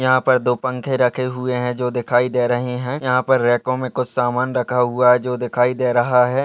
यहाँ पर दो पंखे रखे हुए हैं जो दिखाई दे रहे हैं यहाँ पर रॅकों मे कुछ सामान रखा हुआ है जो दिखाई दे रहा है ।